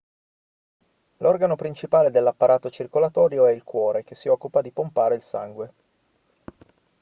l'organo principale dell'apparato circolatorio è il cuore che si occupa di pompare il sangue